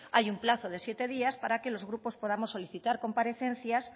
hay un plazo de siete días para que los grupos podamos solicitar comparecencias